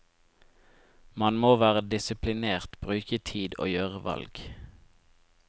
Man må være disiplinert, bruke tid og gjøre valg.